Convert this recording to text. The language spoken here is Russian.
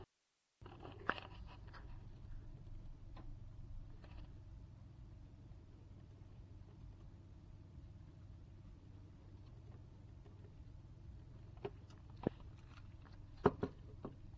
подключи видеорецепты супер сус